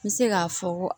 N bɛ se k'a fɔ ko